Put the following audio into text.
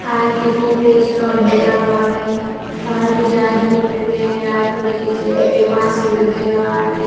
आरती को पिस्तौल बना हुआ है बाहर कुछ आदमी खड़े हैं आदमी के चेहरे पे मास्क लगाया हुआ है।